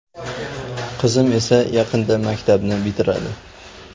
Qizim esa yaqinda maktabni bitiradi.